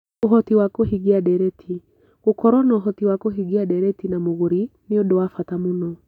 Ũhoti wa kũhinga ndeereti: Gũkorũo na ũhoti wa kũhingia ndeereti na mũgũri nĩ ũndũ wa bata mũno.